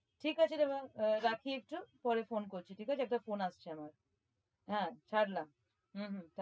ঠিক আছে রাখি একটু পরে phone করছি ঠিক আছে একটা phone আসছে আমার হ্যাঁ ছাড়লাম হম হম